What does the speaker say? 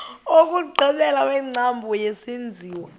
wokugqibela wengcambu yesenziwa